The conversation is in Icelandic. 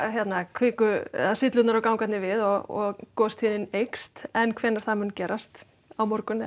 kviku eða syllurnar og gangarnir við og gostíðnin eykst en hvenær það mun gerast á morgun eða